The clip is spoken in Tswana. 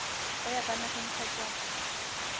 o ya kwa nageng kgotsa